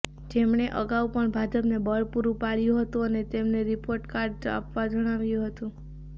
જેમણે અગાઉ પણ ભાજપને બળ પૂરું પાડયું હતું અને તેમને રિપોર્ટ કાર્ડ આપવા જણાવ્યું હતું